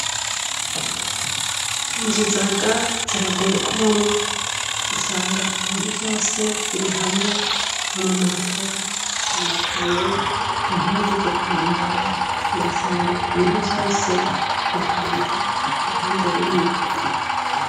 Inzu zaga ziragoye kubamwo usanga ibintu vyose biri hamwe amamatera, amakaye, impuzu zokwambara ugasanga ibintu vyose bipanze uruhande rumwe.